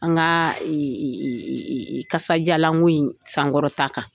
An ka kasadiyalanko in sankɔrɔta kan